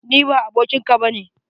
Ni ba abokin ka ba ne!